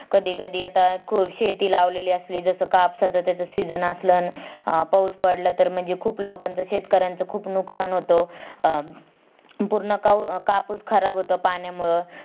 कधी कधी आता अं शेती लावलेली असली, जस कापसाच त्याच Season असल अण पाऊस पडला तर म्हणजे खूप लोकांच शेतकऱ्यांचं खूप नुकसान होत. अं पूर्ण कापूस खराब होतो पाण्यामुळं